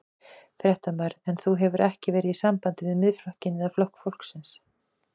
Fréttamaður: En þú hefur ekki verið í sambandi við Miðflokkinn eða Flokk fólksins?